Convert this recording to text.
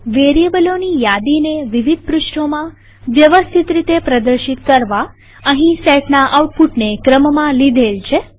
વેરીએબલોની યાદીને વિવિધ પૃષ્ઠોમાં વ્યવસ્થિત રીતે પ્રદર્શિત કરવા અહીં સેટના આઉટપુટને ક્રમમાં લીધેલ છે